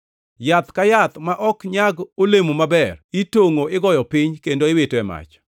Yath ka yath ma ok nyag olemo maber itongʼo igoyo piny kendo iwito e mach.